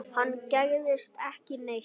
Hann gægðist ekki neitt.